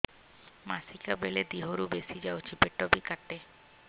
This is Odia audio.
ମାସିକା ବେଳେ ଦିହରୁ ବେଶି ଯାଉଛି ପେଟ ବି କାଟେ